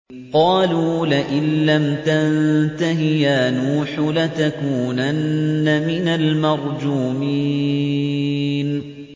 قَالُوا لَئِن لَّمْ تَنتَهِ يَا نُوحُ لَتَكُونَنَّ مِنَ الْمَرْجُومِينَ